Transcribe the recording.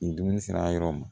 Ni dumuni sera yɔrɔ min ma